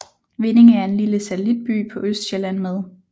Vindinge er en lille satellitby på Østsjælland med